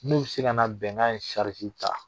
N'u bi se ka na bɛnkan in sariti ta.